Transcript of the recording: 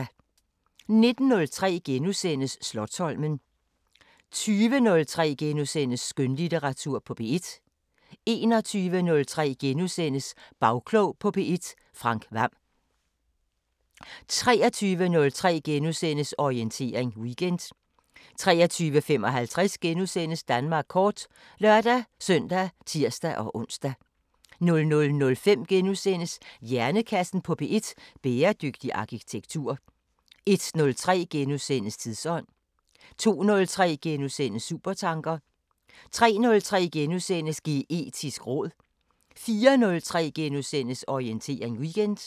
19:03: Slotsholmen * 20:03: Skønlitteratur på P1 * 21:03: Bagklog på P1: Frank Hvam * 23:03: Orientering Weekend * 23:55: Danmark kort *(lør-søn og tir-ons) 00:05: Hjernekassen på P1: Bæredygtig arkitektur * 01:03: Tidsånd * 02:03: Supertanker * 03:03: Geetisk råd * 04:03: Orientering Weekend *